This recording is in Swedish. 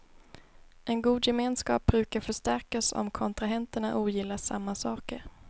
En god gemenskap brukar förstärkas om kontrahenterna ogillar samma saker.